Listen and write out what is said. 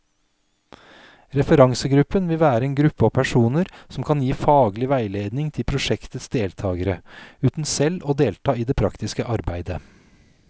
Referansegruppen vil være en gruppe av personer som kan gi faglig veiledning til prosjektets deltagere, uten selv å delta i det praktiske arbeidet.